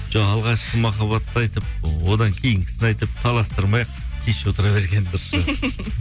жоқ алғашқы махаббатты айтып одан кейінгісін айтып таластырмай ақ тыныш отыра берген дұрыс шығар